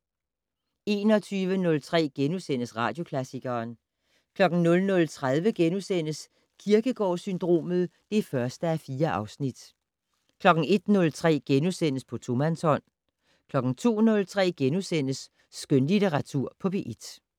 21:03: Radioklassikeren * 00:30: Kierkegaard-syndromet (1:4)* 01:03: På tomandshånd * 02:03: Skønlitteratur på P1 *